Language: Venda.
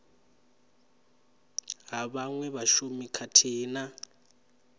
ha vhaṅwe vhashumi khathihi na